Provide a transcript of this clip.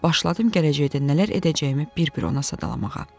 Başladım gələcəkdə nələr edəcəyimi bir-bir ona sadalamağa.